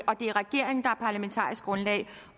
parlamentarisk grundlag